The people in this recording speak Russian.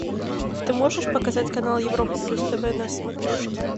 ты можешь показать канал европа плюс тв на смотрешке